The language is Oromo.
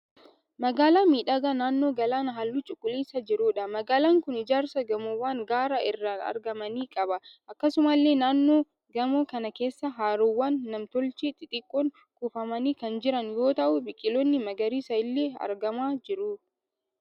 Magaalaa miidhagaa naannoo galaanaa halluu cuquliisaa jiruudha. Magaalaan kun ijaarsa gamoowwan gaara irraan argamanii qaba. Akkasumallee naannoo gamoo kana keessa haroowwan nam-tochee xixiqqoon kuufamanii kan jiran yoo ta'u biqiloonni magariisaa illee argamaa jiru.